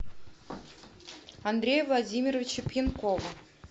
андрея владимировича пьянкова